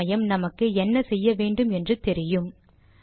சில சமயம் நமக்கு என்ன செய்ய வேண்டும் என்று தெரியும்